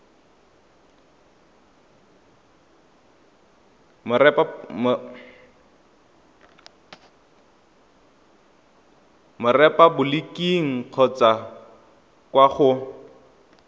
mo repaboliking kgotsa kwa go